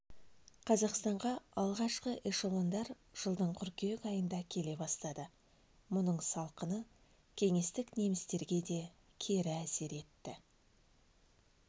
қазақстанға алғашқы эшелондар жылдың қыркүйек айында келе бастады мұның салқыны кеңестік немістерге де кері әсер етті